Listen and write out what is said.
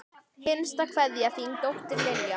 Hinsta kveðja, þín dóttir, Lilja.